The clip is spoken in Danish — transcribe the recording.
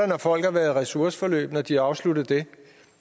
når folk har været i ressourceforløb og de har afsluttet det